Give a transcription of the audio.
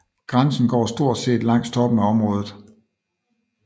Grænsen går stort set langs toppen af området